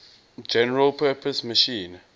general purpose machine